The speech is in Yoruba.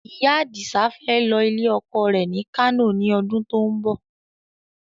Ìyá Adisa fẹ́ lọ ilé ọkọ rẹ ni Kano ni ọdún to ń bọ̀